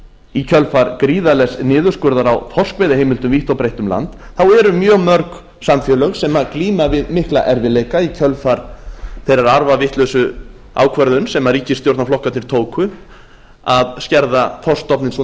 í kjölfar gríðarlegs niðurskurðar á þorskveiðiheimildum vítt og breitt um land eru mjög mörg samfélög sem glíma við mikla erfiðleika í kjölfar þeirrar arfavitlausu ákvöruðnar sem ríkisstjórnarflokkarnir tóku að skerða þorskstofninn svo